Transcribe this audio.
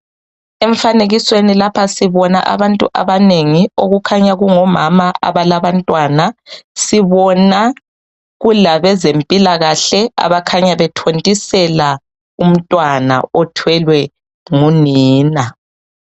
Emfanekisweni lapha sibona abantu abanengi okukhanya kungomama abalabantwana. Sibona kulabezempilakahle abakhanya bethontisela umntwana othwelwe ngunina.